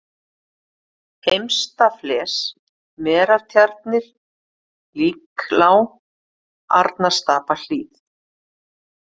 Heimsta-fles, Merartjarnir, Líklág, Arnarstapahlíð